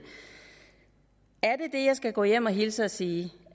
det jeg skal gå hjem og hilse og sige